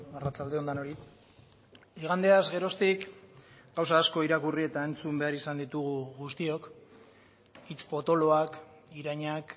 arratsalde on denoi igandeaz geroztik gauza asko irakurri eta entzun behar izan ditugu guztiok hitz potoloak irainak